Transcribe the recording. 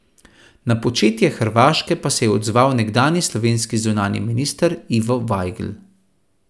Na početje Hrvaške pa se je odzval nekdanji slovenski zunanji minister Ivo Vajgl.